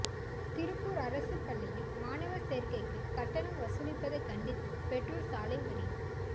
திருப்பூர் அரசு பள்ளியில் மாணவர் சேர்க்கைக்கு கட்டணம் வசூலிப்பதைக் கண்டித்து பெற்றோர் சாலை மறியல்